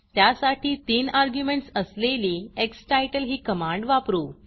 त्यासाठी 3 अर्ग्युमेंटस असलेली स्टिटल ही कमांड वापरू